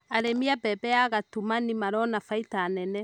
Arĩmi a mbembe ya gatumani marona baita nene.